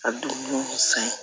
A du san ye